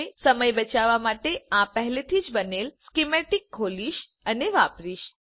હવે હું સમય બચાવવા માટે આ પહેલેથી બનેલ સ્કીમેતિક ખોલીશ અને વાપરીશ